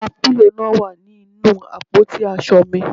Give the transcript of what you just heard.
Àwọn pílò náà wà ní inú àpótí aṣọ mi